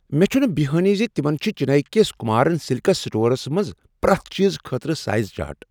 مےٚچھنہٕ بٮ۪یہانٕے زِ تِمن چھِ چنیی کس کمارن سلکس سٹورس منٛز پرٛیتھ چیزٕ خٲطرٕ سایز چارٹ۔